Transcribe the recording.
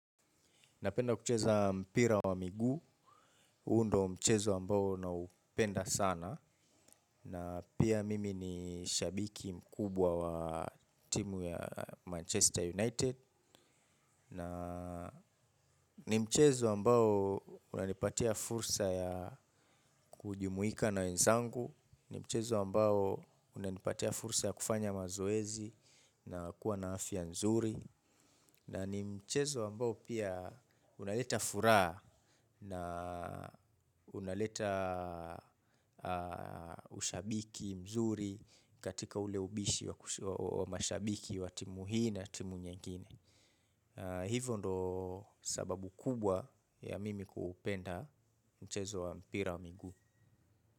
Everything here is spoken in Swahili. Napenda kucheza mpira wa miguu. Huu ndo mchezo ambao naupenda sana. Na pia mimi ni shabiki mkubwa wa timu ya Manchester United. Na ni mchezo ambao unanipatia fursa ya kujumuika na wenzangu. Ni mchezo ambao unanipatia fursa ya kufanya mazoezi na kuwa na afya nzuri. Na ni mchezo ambao pia unaleta furaha na unaleta ushabiki mzuri katika ule ubishi wa mashabiki wa timu hii na timu nyengine. Hivyo ndo sababu kubwa ya mimi kuupenda mchezo wa mpira wa miguu.